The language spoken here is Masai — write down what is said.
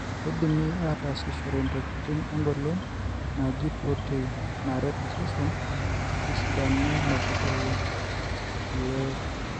kindimi atasishore ntokitin engolon naiji proteins naret osesen tesidano metubulu ilook.